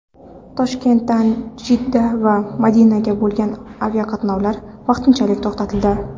Toshkentdan Jidda va Madinaga bo‘lgan aviaqatnovlar vaqtinchalik to‘xtatildi.